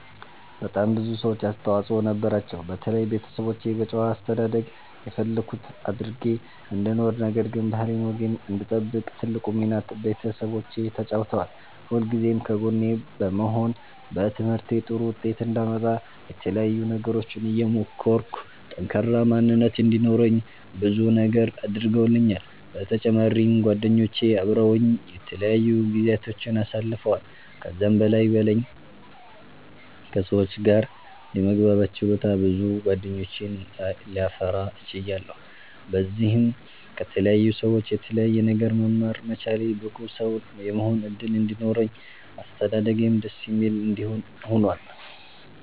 በጣም ብዙ ሰዎች አስተዋፅኦ ነበራቸዉ። በተለይ ቤተሰቦቼ በጨዋ አስተዳደግ የፈለኩት አድርጌ እንድኖር ነገር ግን ባህሌን ወጌን እንድጠብቅ ትልቁን ሚና ቤተሰቦቼ ተጫዉተዋል። ሁልጊዜም ከጎኔ በመሆን በትምህርቴ ጥሩ ዉጤት አንዳመጣ የተለያዩ ነገሮችን እየሞከርኩ ጠንካራ ማንነት እንዲኖረኝ ብዙ ነገር አድርገዉልኛል። በተጫማሪም ጓደኞቼ አበረዉኝ የተለያዩ ጊዚያቶችን አሳልፈዋል። ከዛም በላይ በለኝ ከ ሰዎች ጋር የመግባባት ችሎታ ብዙ ጌደኞችን ላፈራ ችያለሁ። በዚህም ከተለያዩ ሰዎች የተለያየ ነገር መማር መቻሌ ብቁ ሰዉ የመሆን እድል እንዲኖረኝ አስተዳደጌም ደስ የሚል እንዲሆን ሁኗል።